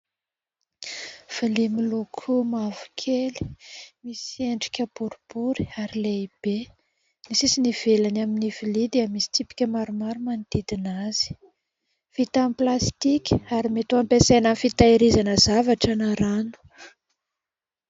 Vilia miloko mavokely misy endrika boribory ary lehibe, ny sisiny ivelany amin'ny vilia dia misy tsipika maromaro manodidina azy, vita amin'ny plastika ary mety ampiasaina amin'ny fitehirizana zavatra na rano.